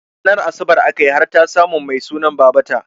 Ranar asabar akayi har ta samun Mai sunan babata